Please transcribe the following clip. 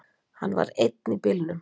Hann var einn í bílnum